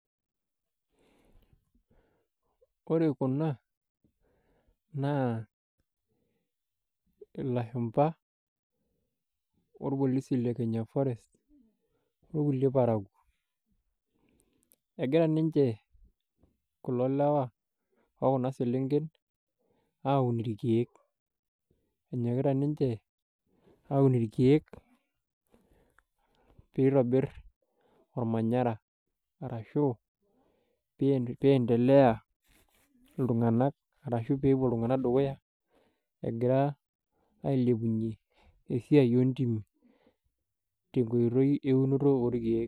Ore kuna naa ilashumba , orpolisi le kenya forest okulie parakuo. Egira ninche kulo lewa okuna selenken, enyokita ninche aun irkieek , pitobir ormanyara arashu piendelea iltunganak peepuo iltunganak dukuya egira ailepunyie esiai ontimi tenkoitoi eunoto oorkiek.